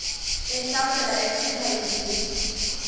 ehlasela echitha izizwe